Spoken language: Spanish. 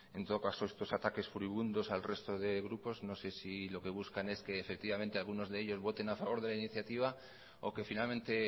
en todo caso estos ataques furibundos al resto de grupos no sé si lo que buscan es que efectivamente algunos de ellos voten a favor de la iniciativa o que finalmente